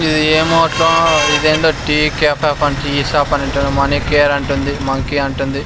ఇది ఏమో అట్లా ఇదేందో టీ కేఫ్ టీ షాప్ అంట మనీ కేర్ అంటుంది మంకీ అంటుంది.